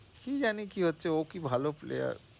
কি জানি কি হচ্ছে? ও কি ভালো player